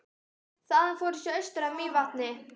Þaðan fór ég svo austur að Mývatni.